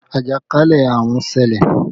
Ajakalẹ̀ àrùn ń ṣẹlẹ̀